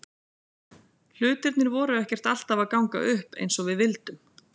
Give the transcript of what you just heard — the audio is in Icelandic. Hlutirnir voru ekkert alltaf að ganga upp eins og við vildum.